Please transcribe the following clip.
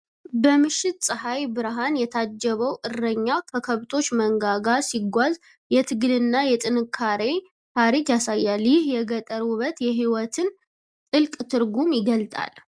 በምሽት ፀሐይ ብርሃን የታጀበው እረኛ ከከብቶች መንጋ ጋር ሲጓዝ የትግልና የጥንካሬን ታሪክ ያሳያል። ይህ የገጠር ውበት የህይወትን ጥልቅ ትርጉም ይገልጣል።